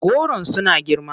Goron suna girma.